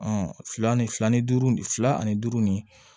fila ni fila ni duuru fila ani duuru ni